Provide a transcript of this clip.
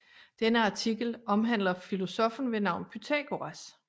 Denne artikel omhandler filosoffen ved navn Pythagoras